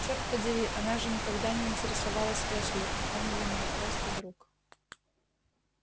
черт подери она же никогда не интересовалась эшли он для нее просто друг